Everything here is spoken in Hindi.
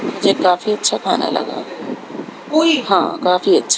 मुझे काफी अच्छा खाना लगा हा काफी अच्छा--